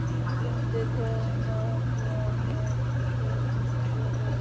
Sindri: Hvenær heldurðu að það geti orðið?